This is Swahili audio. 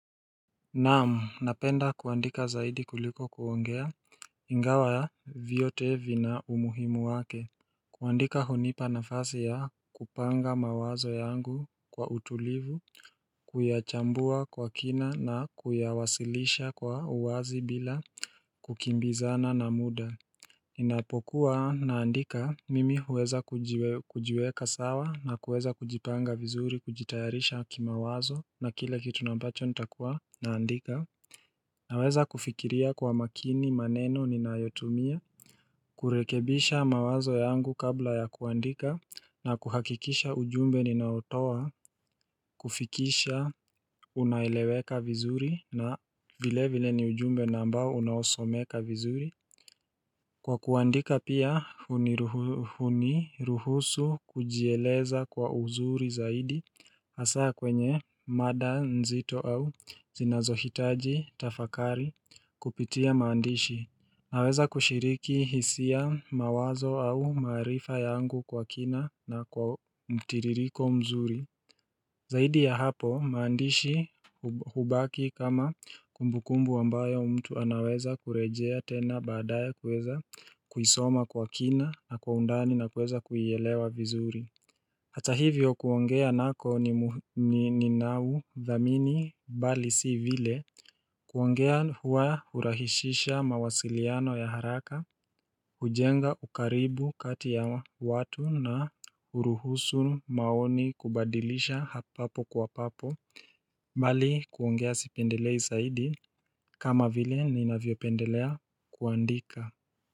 Naam, napenda kuandika zaidi kuliko kuongea, ingawa vyote vina umuhimu wake. Kuandika hunipa nafasi ya kupanga mawazo yangu kwa utulivu, kuyachambua kwa kina na kuyawasilisha kwa uwazi bila kukimbizana na muda. Ninapokuwa naandika mimi huweza kujiweka sawa na kuweza kujipanga vizuri kujitayarisha kimawazo na kile kitu na ambacho nitakuwa naandika Naweza kufikiria kwa makini maneno ninayotumia kurekebisha mawazo yangu kabla ya kuandika na kuhakikisha ujumbe ninaotoa kufikisha unaeleweka vizuri na vile vile ni ujumbe na ambao unaosomeka vizuri Kwa kuandika pia huniruhusu kujieleza kwa uzuri zaidi hasa kwenye mada nzito au zinazohitaji tafakari kupitia maandishi. Naweza kushiriki hisia mawazo au maarifa yangu kwa kina na kwa mtiririko mzuri. Zaidi ya hapo maandishi hubaki kama kumbukumbu ambayo mtu anaweza kurejea tena baadaye kweza kuisoma kwa kina na kwa undani na kuweza kuielewa vizuri Hata hivyo kuongea nako ni ninau dhamini bali si vile kuongea hua hurahisisha mawasiliano ya haraka ujenga ukaribu kati ya watu na huruhusu maoni kubadilisha hapo kwa papo mbali kuongea sipendelei saidi kama vile ninavyo pendelea kuandika.